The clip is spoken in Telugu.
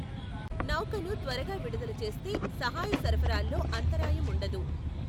నౌకను త్వరగా విడుదల చేస్తే, సహాయ సరఫరాలో అంతరాయం ఉండదు.